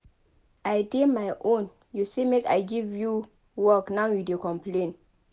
I dey my own you say make I give you work now you dey complain